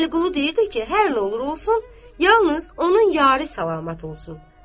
Vəliqulu deyirdi ki, hər nə olur olsun, yalnız onun yarı salamat olsun.